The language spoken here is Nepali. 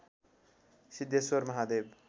सिद्धेश्वर महादेव